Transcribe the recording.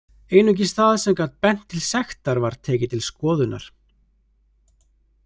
Einungis það sem gat bent til sektar var tekið til skoðunar.